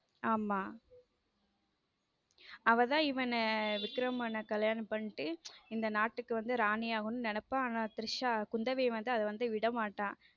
ஆம அவ தான் இவன விக்ரம் கல்யாணம் பண்ணிட்டு இந்த நாட்டுக்கு வந்து ராணி ஆகணும்னு நினைப்பா ஆனா திரிஷா குந்தவி வந்து விடமாட்டா.